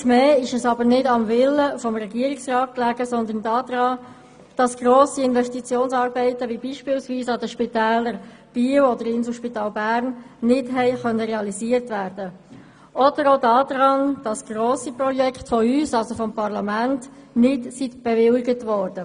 Einmal mehr lag dies nicht am Willen des Regierungsrats, sondern daran, dass grosse Investitionsarbeiten, wie beispielsweise in das Spital Biel oder in das Inselspital Bern, nicht realisiert werden konnten, oder auch daran, dass grosse Projekte vom Parlament nicht bewilligt wurden.